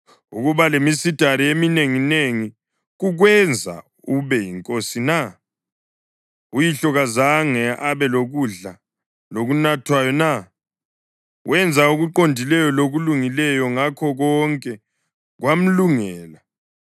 Ukuba lemisedari eminenginengi kukwenza ube yinkosi na? Uyihlo kazange abe lokudla lokunathwayo na? Wenza okuqondileyo lokulungileyo, ngakho konke kwamlungela.